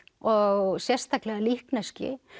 og sérstaklega líkneski